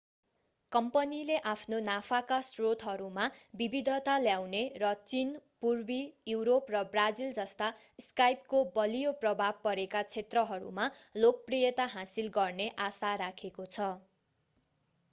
कम्पनीले आफ्ना नाफाका स्रोतहरूमा विविधता ल्याउने र चीन पूर्वी युरोप र ब्राजिल जस्ता स्काइपको बलियो प्रभाव परेका क्षेत्रहरूमा लोकप्रियता हासिल गर्ने आशा राखेको छ